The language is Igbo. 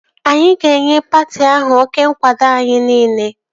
Anyị ga-enye patị ahụ oké nkwado anyị niile